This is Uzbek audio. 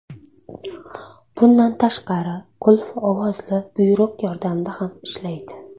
Bundan tashqari, qulf ovozli buyruq yordamida ham ishlaydi.